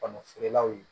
Kɔnɔ feerelaw ye